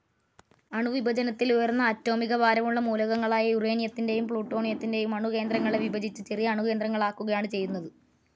അണുവിഭജനത്തിൽ ഉയർന്ന അറ്റോമികഭാരമുള്ള മൂലകങ്ങളായ യുറേനിയത്തിന്റേയും പ്ലൂട്ടോണിയത്തിനേയും അണുകേന്രങ്ങളെ വിഭജിച്ച് ചെറിയ അണുകേന്ദ്രങ്ങൾ ആക്കുക ആണ് ചെയ്യുന്നത്.